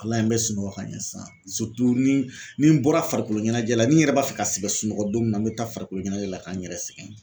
Walayi n bɛ sunɔgɔ ka ɲɛ sisan ni ni n bɔra farikolo ɲɛnajɛ la ni n yɛrɛ b'a fɛ ka sɛgɛn sunɔgɔ don min na n bɛ taa farikolo ɲɛnajɛ la k'an yɛrɛ sɛgɛn.